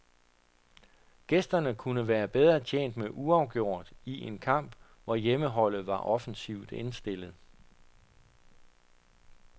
Gæsterne kunne være bedre tjent med uafgjort i en kamp, hvor hjemmeholdet var offensivt indstillet.